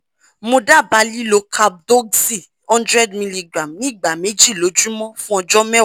mo dábàá lílo cap doxy hundred milligram ní ìgbà méjì lójúmọ́ fún ọjọ́ mẹ́wàá